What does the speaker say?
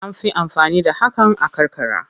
An fi amfani da hakan a karkara.